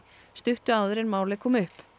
stuttu áður en málið kom upp